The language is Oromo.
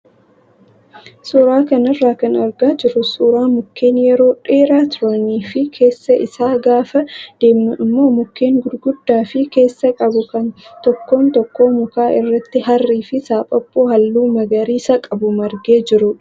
Suuraa kanarraa kan argaa jirru suuraa mukkeen yeroo dheeraa turanii fi keessa isaa gaafa deemnu immoo mukkeen gurguddaa of keessaa qabu kan tokkoon tokkoo mukaa irratti harrii fi saaphaphuu halluu magariisa qabu margee jirudha.